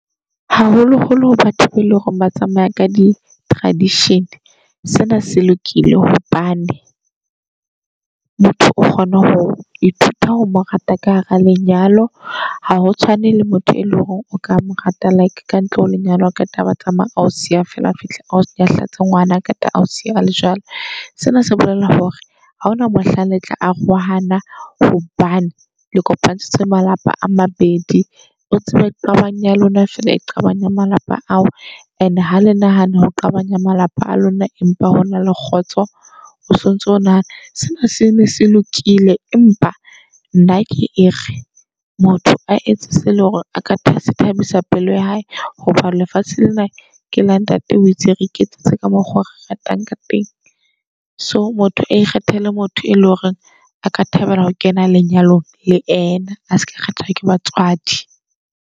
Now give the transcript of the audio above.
Haholo holo batho eleng hore ba tsamaya ka di-tradition. Sena se lokile hobane motho o kgona ho ithuta ho morata ka hara lenyalo. Ha ho tshwane le motho e leng hore o ka morata like kantle ho lenyalo. Haqeta abe a tsamaya ao siya feela, a fihle ao nyahlatse ngwanaka ao siye ole jwalo. Sena se bolela hore ha hona mohlang letla arohana hobane le kopantshitse malapa a mabedi. O tsebe qabang ya lona jwale e qabanya malapa ao. And-e hale nahana ho qabanya malapa a lona empa hona le kgotso, o sontso o nahana sena se ne se lokile. Empa nna ke ere motho a etse se eleng hore a ka thabisa pelo ya hae, hobane lefatshe lena ke la ntate. O itse re iketsetse ka mokgo re ratang ka teng. So motho a ikgethele motho e leng hore a ka thabela ho kena lenyalong le ena. A seka kgethwa ke batswadi.